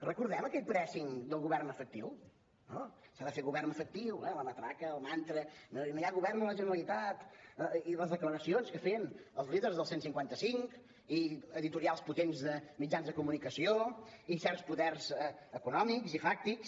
recordem aquell pressingvern efectiu eh la matraca el mantra no hi ha govern a la generalitat i les declaracions que feien els líders del cent i cinquanta cinc i editorials potents de mitjans de comunicació i certs poders econòmics i fàctics